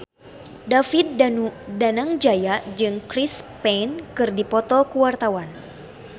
David Danu Danangjaya jeung Chris Pane keur dipoto ku wartawan